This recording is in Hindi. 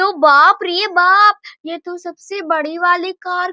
तो बाप रे बाप ये तो सबसे बड़े वाली कार --